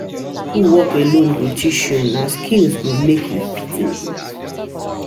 No be school work alone go teach you, na skills go make you fit in.